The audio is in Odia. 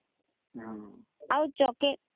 ହମ୍